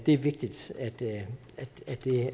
er vigtigt